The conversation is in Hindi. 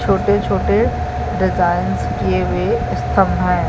छोटे -छोटे डिजाइंस किये हुए स्तम्भ हैं ।